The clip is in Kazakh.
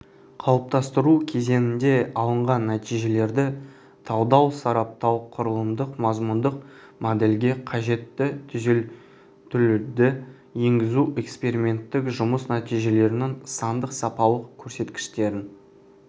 қалыптастыру кезеңінде алынған нәтижелерді талдау сараптау құрылымдық-мазмұндық модельге қажетті түзетулерді енгізу эксперименттік жұмыс нәтижелерінің сандық-сапалық көрсеткіштерін